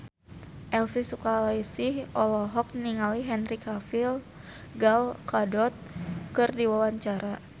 Elvi Sukaesih olohok ningali Henry Cavill Gal Gadot keur diwawancara